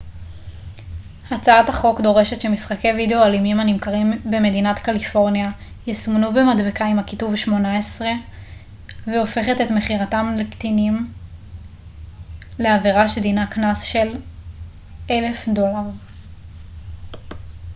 הצעת החוק דורשת שמשחקי וידאו אלימים הנמכרים במדינת קליפורניה יסומנו במדבקה עם הכיתוב 18 והופכת את מכירתם לקטינים לעברה שדינה קנס של $1000